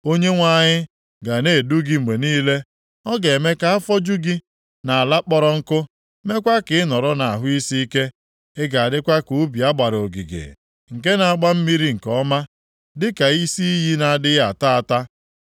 Onyenwe anyị ga na-edu gị mgbe niile. Ọ ga-eme ka afọ jụ gị nʼala kpọrọ nkụ, meekwa ka ị nọrọ nʼahụ isiike. Ị ga-adịkwa ka ubi a gbara ogige nke a na-agba mmiri nke ọma, dịka isi iyi na-adịghị ata ata.